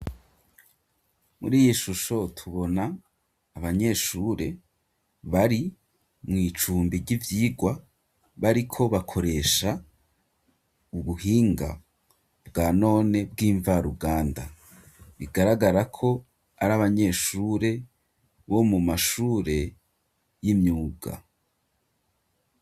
Muri iyi shusho tubona abanyeshure bari mu cumbi c'ivyigwa bariko bakoresha ubuhinga bwa none bw'imvaruganda bigaragarako ari abanyeshure bo mu mashure y'imyuga.